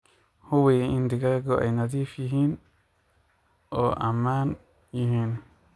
Hubi in digaagu ay nadiif yihiin oo ammaan yihiin.